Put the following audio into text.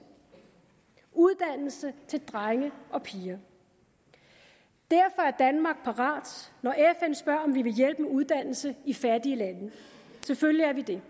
uddannelse til drenge og piger derfor er danmark parat når fn spørger om vi vil hjælpe med uddannelse i fattige lande selvfølgelig er vi det